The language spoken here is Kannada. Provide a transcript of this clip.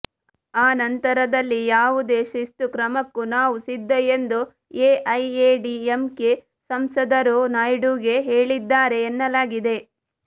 ಆ ನಂತರದಲ್ಲಿ ಯಾವುದೇ ಶಿಸ್ತುಕ್ರಮಕ್ಕೂ ನಾವು ಸಿದ್ಧ ಎಂದು ಎಐಎಡಿಎಂಕೆ ಸಂಸದರು ನಾಯ್ಡುಗೆ ಹೇಳಿದ್ದಾರೆ ಎನ್ನಲಾಗಿದೆ